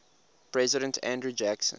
president andrew jackson